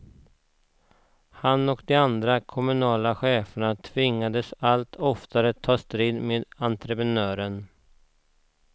Han och de andra kommunala cheferna tvingades allt oftare ta strid med entreprenören.